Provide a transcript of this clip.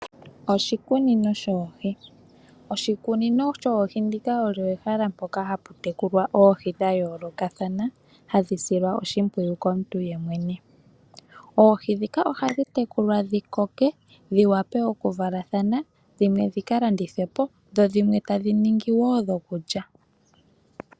Oshikunino shoohi Oshikunino shoohi ndija olyoo ehala mpoka haputekulwa oohi dha yoolokathana, hashi silwa oshimpwiyu komuntu yemwene. Oohi ndhika ohadhi tekulwa dhikoke , dhiwape okuvalathana , dhimwe dhikalandithwepo dho dhimwe tadhi ningi wo dhokulya.